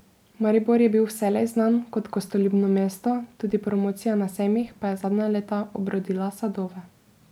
Maribor je bil vselej znan kot gostoljubno mesto, tudi promocija na sejmih pa je zadnja leta obrodila sadove.